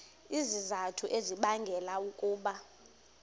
izizathu ezibangela ukuba